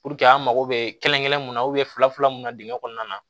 an mago bɛ kelen kelen mun na fila fila mun na dingɛ kɔnɔna na